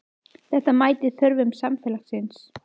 Þetta mætir þörfum samfélagsins